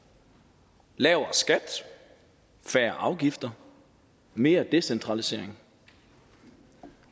lavere skat færre afgifter mere decentralisering